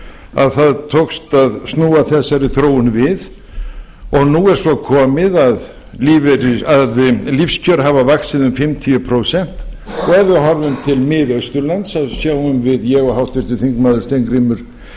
að það tókst að snúa þessari þróun við og nú er svo komið að lífskjör hafa vaxið um fimmtíu prósent hverfum við til miðausturlands þá sjáum við ég og háttvirtur þingmaður steingrímur